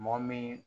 Mɔgɔ min